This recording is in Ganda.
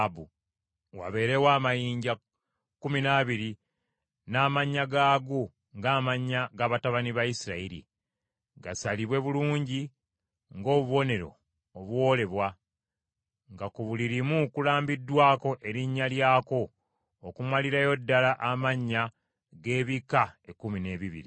Wabeerewo amayinja kkumi n’abiri, n’amannya gaago ng’amannya g’abatabani ba Isirayiri. Gasalibwe bulungi ng’obubonero obuwoolebwa, nga ku buli limu kulambiddwako erinnya lyako okumalirayo ddala amannya g’ebika ekkumi n’ebibiri.